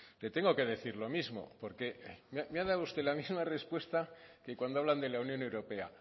le tengo que decir lo mismo porque me ha dado usted la misma respuesta que cuando hablan de la unión europea